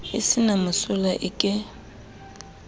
e se na mosola eke